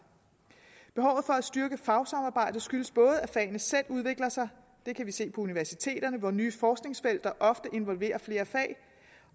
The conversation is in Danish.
behovet for at styrke fagsamarbejdet skyldes både at fagene selv udvikler sig det kan vi se på universiteterne hvor nye forskningsfelter ofte involverer flere fag